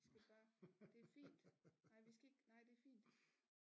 Vi skal bare det er fint nej vi skal ikke nej det er fint